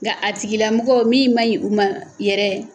Nka a tigilamɔgɔ min ma ɲi u ma yɛrɛ